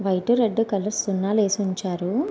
White red కలిసి సున్నాలు ఏసీ ఉంచారు.